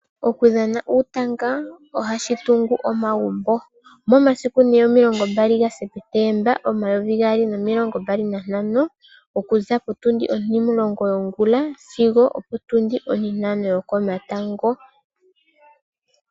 Okudhana uutanga ohashitungu omagumbo , momasiku 20, 09, 2025 okuza potundi otilong yongula sigo opo tundi otitano yokomatango.